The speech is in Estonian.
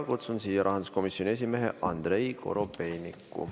Kutsun siia rahanduskomisjoni esimehe Andrei Korobeiniku.